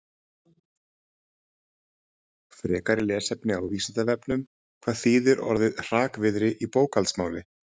Frekara lesefni á Vísindavefnum: Hvað þýðir orðið hrakvirði í bókhaldsmáli?